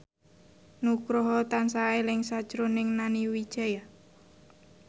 Nugroho tansah eling sakjroning Nani Wijaya